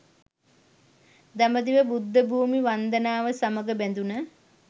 දඹදිව බුද්ධ භූමි වන්දනාව සමග බැඳුන